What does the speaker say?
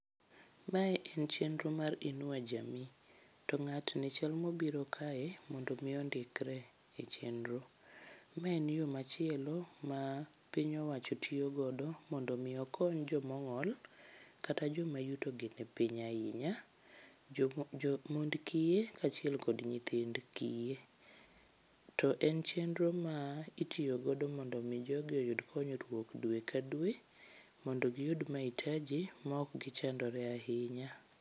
Mae en chenro mar inua jamii to ng'atni chal mobiro kae mondo omi ondikre e chenro. Ma en yo machielo ma piny owacho tiyogodo mondo omi okony jomong'ol kata joma yutogi ni piny ahinya, mond kiye kaachiel kod nyithind kiye. To en chenro ma itiyogodo mondo omi jogi oyud konyruok dwe ka dwe mondo giyud maitaji maok gichandore ahinya.